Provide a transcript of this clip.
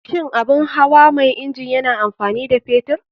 Shin abun hawa mai inji yana amfani da fetur?